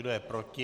Kdo je proti?